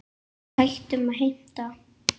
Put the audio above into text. Hættum að heimta!